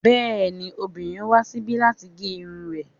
Bẹ́ẹ̀ni, obìnrin wá síbi láti gé irun rẹ̀